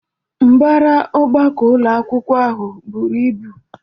Mbara ọgbakọ ụlọ akwụkwọ ahụ bụru ịbụ